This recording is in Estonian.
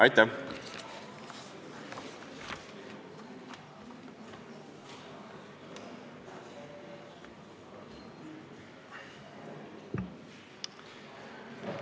Aitäh!